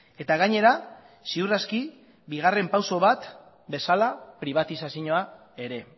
eta gainera ziur aski bigarren pauso bat bezala pribatizazioa ere